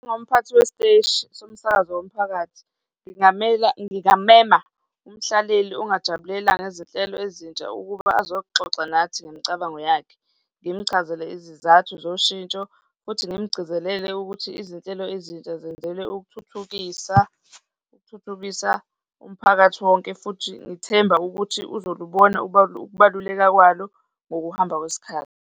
Njengomphathi wesiteshi somsakazo womphakathi, ngingamela, ngingamema umhlaleleli ongajabulela ngezinhlelo ezintsha ukuba ozoxoxa nathi ngemicabango yakhe, ngimchazele izizathu zoshintsho futhi ngimgcizelele ukuthi izinhlelo ezintsha zenzelwe ukuthuthukisa, ukuthuthukisa umphakathi wonke futhi ngithemba ukuthi uzolubona ukubaluleka kwalo ngokuhamba kwesikhathi.